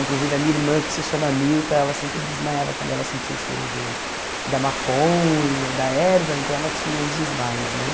Inclusive a minha irmã, que se chama Milta, ela sempre desmaiava quando ela sentia o cheiro de da maconha, da erva, então ela tinha uns desmaios, né?